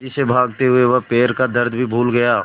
तेज़ी से भागते हुए वह पैर का दर्द भी भूल गया